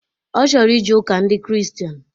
Ọ chọrọ ije ụka ndị kristian